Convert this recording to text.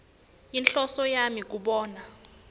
yinhloso yami kubona